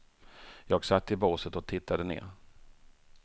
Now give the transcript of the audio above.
Jag satt i båset och tittade ner.